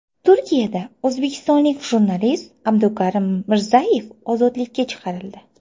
Turkiyada o‘zbekistonlik jurnalist Abdukarim Mirzayev ozodlikka chiqarildi.